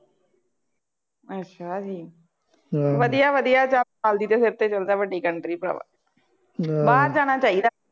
ਅੱਛਾ ਜੀ, ਵਧੀਆ ਵਧੀਆਂ ਨਾਲ ਦੀ ਸਿਰ ਤੇ ਚੱਲ ਜਾ ਵੱਡੀ country ਭਰਾਵਾ, ਬਾਹਰ ਜਾਣਾ ਚਾਹੀਦਾ।